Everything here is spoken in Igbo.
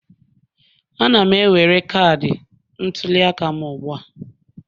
Ana m ewere cadi ntuliaka m ugbu a